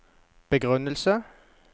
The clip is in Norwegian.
begrunnelsen